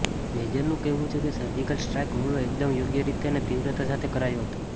મેજરનું કહેવું છે કે સર્જિકલ સ્ટ્રાઈક હુમલો એકદમ યોગ્ય રીતે અને તીવ્રતા સાથે કરાયો હતો